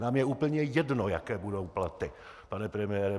Nám je úplně jedno, jaké budou platy, pane premiére.